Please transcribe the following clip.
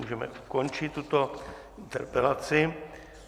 Můžeme ukončit tuto interpelaci.